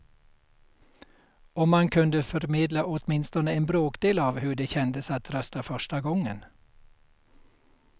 Om man kunde förmedla åtminstone en bråkdel av hur det kändes att rösta första gången.